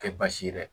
Kɛ baasi ye dɛ